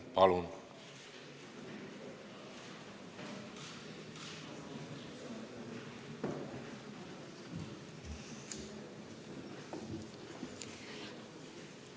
Palun!